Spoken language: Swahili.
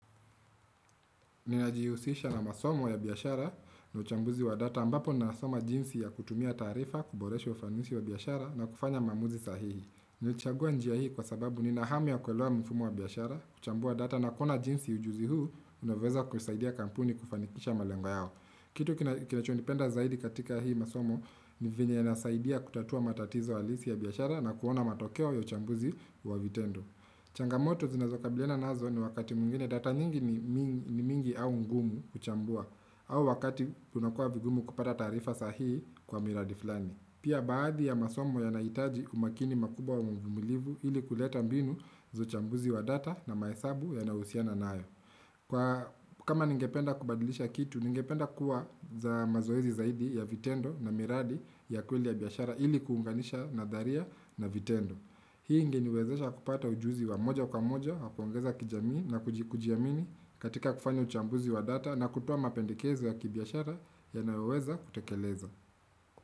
Ninajihusisha na masomo ya biashara na uchambuzi wa data ambapo nasoma jinsi ya kutumia taarifa, kuboresha ufanisi wa biashara na kufanya maamuzi sahihi. Nachagua njia hii kwa sababu ninahamu ya kuelewa mfumo wa biashara, kuchambua data na kuona jinsi ujuzi huu, unavyoweza kusaidia kampuni kufanikisha malengo yao. Kitu kinachonipenda zaidi katika hii masomo ni venye inasaidia kutatua matatizo halisi ya biashara na kuona matokeo ya uchambuzi wa vitendo. Changamoto zinazokabiliana nazo ni wakati mwingine data nyingi ni mingi au ngumu kuchambua au wakati kunakua vigumu kupata taarifa sahihi kwa miradi fulani Pia baadhi ya masomo yanahitaji umakini makubwa wa uvumulivu ili kuleta mbinu za uchambuzi wa data na mahesabu yanayohusiana nayo Kwa kama ningependa kubadilisha kitu, ningependa kuwa za mazoezi zaidi ya vitendo na miradi ya kweli ya biashara ili kuunganisha nadharia na vitendo Hii ingeniwezesha kupata ujuzi wa moja kwa moja, wakuongeza kijamii nakujiamini katika kufanya uchambuzi wa data na kutoa mapendekezo ya kibiashara yanaoweza kutekelezwa.